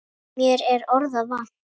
Mér er orða vant.